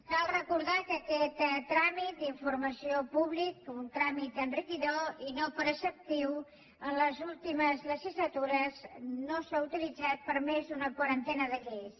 cal recordar que aquest tràmit d’informació pública un tràmit enriquidor i no preceptiu en les últimes legislatures no s’ha utilitzat per més d’una quarantena de lleis